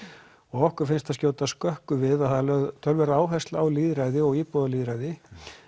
og okkur finnst það skjóta skökku við að það er lögð töluverð áhersla á lýðræði og íbúalýðræði